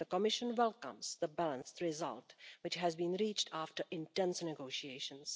The Commission welcomes the balanced result, which has been reached after intense negotiations.